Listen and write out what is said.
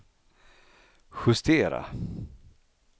justera